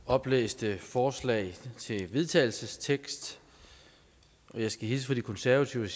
oplæste forslag til vedtagelsestekst og jeg skal hilse fra de konservative